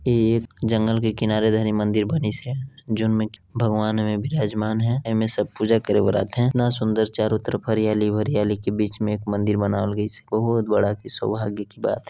ये एक जंगल के किनारे धने मंदिर बनिस हे जोनमे भगवान विराजमान है ऐमें सब पूजा करे बर आथय कितना सूंदर चारो तरफ हरियाली अउ हरियाली के बिच में एक मंदिर बनाल गइस हे बहुत बड़ा के शोभाग्य की बात हे।